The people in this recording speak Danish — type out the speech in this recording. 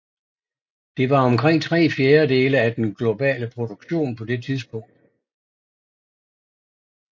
Det var omkring tre fjerdedele af den globale produktion på det tidspunkt